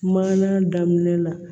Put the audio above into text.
Maana daminɛ la